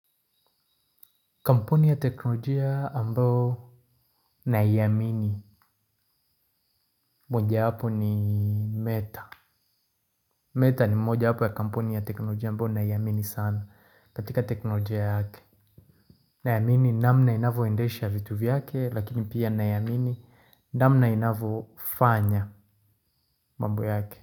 Kampuni ya teknolojia ambao na iamini moja wapo ni Meta Meta ni moja wapo ya kampuni ya teknolojia ambayo na iamini sana katika teknolojia yake. Naamini namna inavyoendesha vitu vyake lakini pia naamini namna inavyofanya mambo yake.